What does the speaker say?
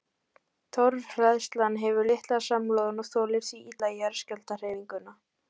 Torfhleðslan hefur litla samloðun og þolir því illa jarðskjálftahreyfinguna.